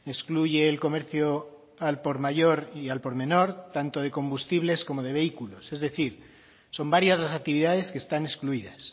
excluye el comercio al por mayor y al por menor tanto de combustibles como de vehículos es decir son varias las actividades que están excluidas